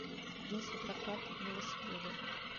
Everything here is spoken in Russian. есть ли прокат велосипедов